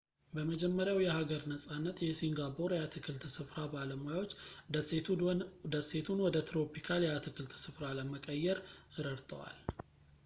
በመጀመሪያው የሀገር ነጻነት የሲንጋፖር የአትክልት ስፍራ ባለሙያዎች ደሴቱን ወደ ትሮፒካል የአትክልት ስፍራ ለመቀየር ረድተዋል